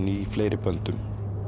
í fleiri böndum